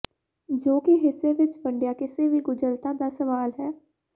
ਜੋ ਕਿ ਹਿੱਸੇ ਵਿੱਚ ਵੰਡਿਆ ਕਿਸੇ ਵੀ ਗੁੰਝਲਤਾ ਦਾ ਸਵਾਲ ਹੈ